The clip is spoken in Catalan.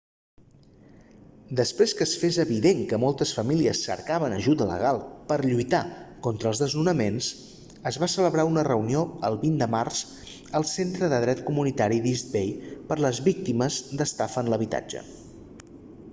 després que es fes evident que moltes famílies cercaven ajuda legal per a lluitar contra els desnonaments es va celebrar una reunió el 20 de març al centre de dret comunitari d'east bay per les víctimes d'estafa en l'habitatge